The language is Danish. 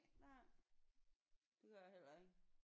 Nej det gjorde jeg heller ikke